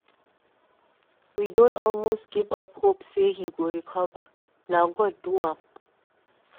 We don almost give up hope say he go recover. Na God do am.